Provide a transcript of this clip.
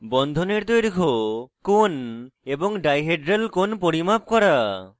বন্ধনের দৈর্ঘ্য কোণ এবং ডাইহেড্রাল কোণ পরিমাপ করা